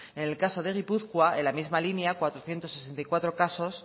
en el caso de gipuzkoa en la misma línea cuatrocientos sesenta y cuatro casos